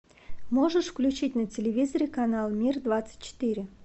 можешь включить на телевизоре канал мир двадцать четыре